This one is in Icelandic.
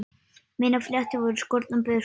Mínar fléttur voru skornar burt.